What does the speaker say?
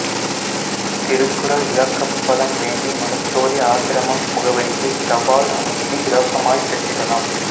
திருக்குறள் விளக்கப்படம் வேண்டி மனுஜோதி ஆசிரமம் முகவரிக்கு தபால் அனுப்பி இலவசமாய்ப் பெற்றிடலாம்